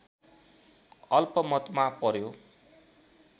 अल्पमतमा पर्‍यो